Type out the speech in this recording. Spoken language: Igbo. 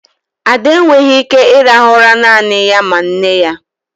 Ade enweghị ike ịrahụ ụra naanị ya ma nne ya.